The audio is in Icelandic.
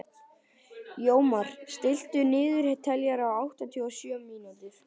Jómar, stilltu niðurteljara á áttatíu og sjö mínútur.